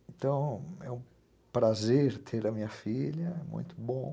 Então, é um prazer ter a minha filha, muito bom.